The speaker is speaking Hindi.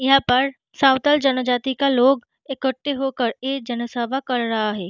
यहाँ पर का लोग इकट्टे होकर ए जनसभा कर रहा हैं।